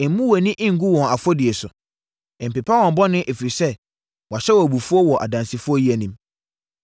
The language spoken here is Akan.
Mmu wʼani ngu wɔn afɔdie so. Mpepa wɔn bɔne, ɛfiri sɛ, wɔahyɛ wo abufuo wɔ adansifoɔ yi anim.”